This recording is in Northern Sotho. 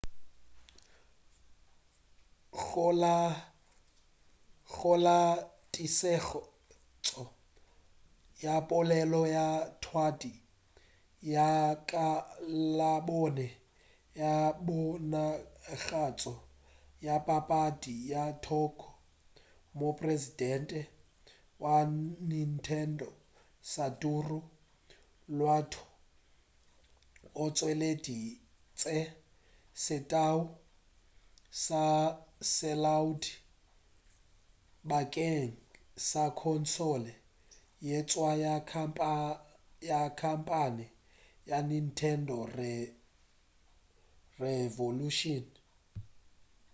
go la tlišetšo ya polelo ya thwadi ya ka labone ya ponagatšo ya papadi ya tokyo mopresidente wa nintendo satoru iwata o tšweleditše setalwa sa selaodi bakeng sa khonsole ye ntswa ya khamphane ya nintendo revolution